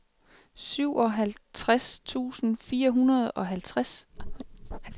syvoghalvtreds tusind fire hundrede og halvfjerds